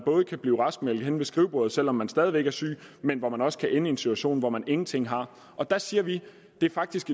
kan blive raskmeldt henne ved skrivebordet selv om man stadig væk er syg men hvor man også kan ende i en situation hvor man ingenting har der siger vi at det faktisk